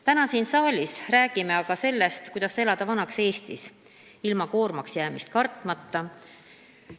Täna siin saalis räägime aga sellest, kuidas elada vanaks Eestis ilma koormaks jäämist kartmata.